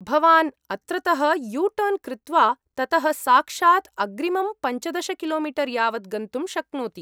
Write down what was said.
भवान् अत्रतः यूटर्न् कृत्वा ततः साक्षात् अग्रिमं पञ्चदश किलोमीटर् यावत् गन्तुं शक्नोति।